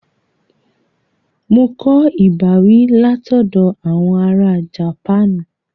Mo kọ ìbáwí látoọ̀dọ̀ àwọn ará Japanu